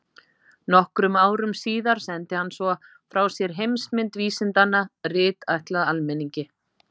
Nokkrum árum síðar sendi hann svo frá sér Heimsmynd vísindanna, rit ætlað almenningi.